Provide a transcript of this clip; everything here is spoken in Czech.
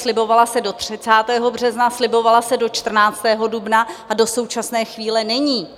Slibovala se do 30. března, slibovala se do 14. dubna a do současné chvíle není.